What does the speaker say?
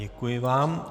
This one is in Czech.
Děkuji vám.